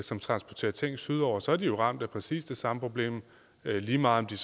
som transporterer ting sydover er de jo ramt af præcis det samme problem lige meget om de